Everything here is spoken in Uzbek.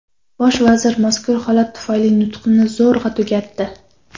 Bosh vazir mazkur holat tufayli nutqini zo‘rg‘a tugatdi.